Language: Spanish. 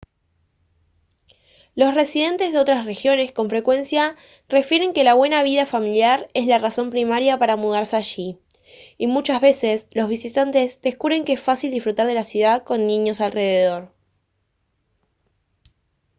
los residentes de otras regiones con frecuencia refieren que la buena vida familiar es la razón primaria para mudarse allí y muchas veces los visitantes descubren que es fácil disfrutar de la ciudad con niños alrededor